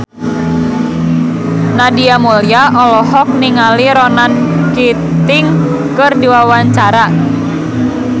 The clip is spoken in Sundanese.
Nadia Mulya olohok ningali Ronan Keating keur diwawancara